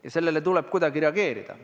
Ja sellele tuleb kuidagi reageerida.